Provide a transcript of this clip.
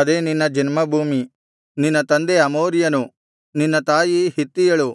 ಅದೇ ನಿನ್ನ ಜನ್ಮಭೂಮಿ ನಿನ್ನ ತಂದೆ ಅಮೋರಿಯನು ನಿನ್ನ ತಾಯಿ ಹಿತ್ತಿಯಳು